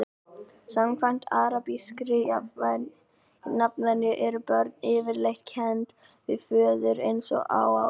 samkvæmt arabískri nafnvenju eru börn yfirleitt kennd við föður eins og á íslandi